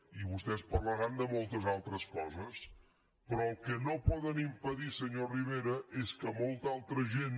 i vostès parlaran de moltes altres coses però el que no poden impedir senyor rivera és que molta altra gent